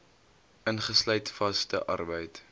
ingesluit vaste arbeid